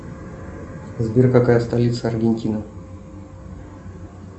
сбер какая столица аргентины